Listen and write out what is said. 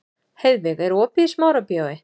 Heiðveig, er opið í Smárabíói?